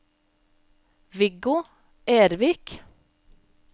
Viggo Ervik